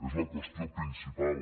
és la qüestió principal